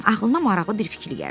Ağlına maraqlı bir fikir gəldi.